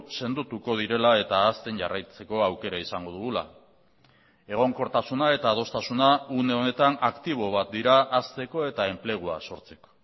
sendotuko direla eta hazten jarraitzeko aukera izango dugula egonkortasuna eta adostasuna une honetan aktibo bat dira hazteko eta enplegua sortzeko